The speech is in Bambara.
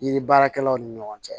Yiri baarakɛlaw ni ɲɔgɔn cɛ